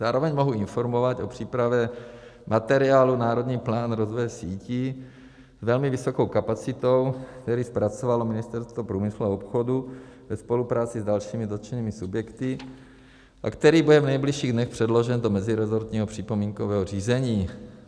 Zároveň mohu informovat o přípravě materiálu Národní plán rozvoje sítí s velmi vysokou kapacitou, který zpracovalo Ministerstvo průmyslu a obchodu ve spolupráci s dalšími dotčenými subjekty a který bude v nejbližších dnech předložen do mezirezortního připomínkového řízení.